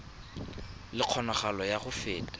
le kgonagalo ya go feta